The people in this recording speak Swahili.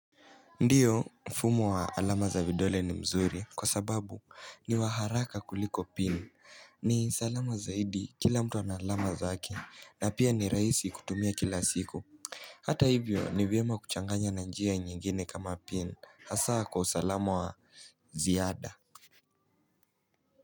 Ndio mfumo wa alama za vidole ni mzuri kwa sababu ni waharaka kuliko pin ni salama zaidi kila mtu ana alama zake na pia ni raisi kutumia kila siku hata hivyo nivyema kuchanganya na njia nyingine kama pin hasa kwa usalamu wa ziada.